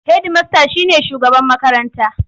Hedimasta shi ne shugaban makaranta.